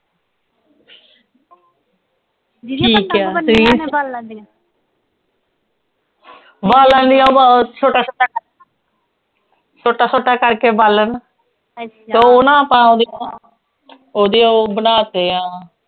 ਲੈਂਦੀ ਬਸ ਉਹ ਛੋਟਾ ਛੋਟਾ ਛੋਟਾ ਛੋਟਾ ਕਰਕੇ ਬਾਲਣ ਤੇ ਉਹ ਨਾ ਤਾਂ ਓਹਦੀ ਓਹਦੀ ਉਹ ਬਣਾ ਤੀਆਂ